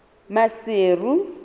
maseru